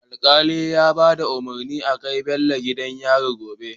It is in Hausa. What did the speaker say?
Alkali ya bada umarni a kai Bello gidan yari gobe